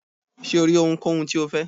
ṣe o ri ohúnkohún ti o fẹ?